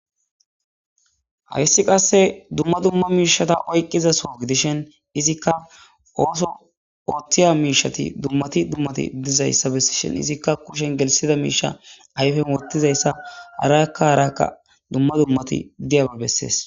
Hayssi qasse dumma dumma miishata oyqqizaso gidishen izikka ooso oothtiya miishati dummati dummati dizayssa bessishen izikka kushen gelisida miisha ayfen wottizayssa harakka harakka dumma dummati diyaba bessees